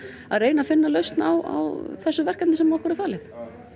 að reyna að finna lausn á þessu verkefni sem okkur er falið